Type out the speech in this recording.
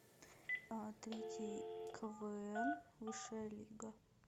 а третий квн высшая лига